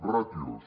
ràtios